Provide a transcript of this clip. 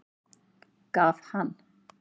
Gaf hann